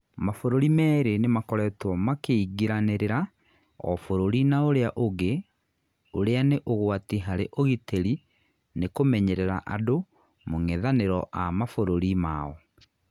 Mabũrũri merĩ nĩ makoretwo makĩingĩranĩrĩra o bũrũri nauria ũngĩ ũria nĩ ũgwati harĩ ũgitĩri nikũmenyerera andũ mũng'ethaniro a mabũrũri mao